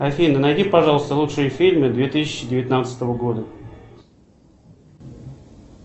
афина найди пожалуйста лучшие фильмы две тысячи девятнадцатого года